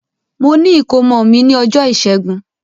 Mo ni ìkómọ mi ni ọjọ ìṣẹgun.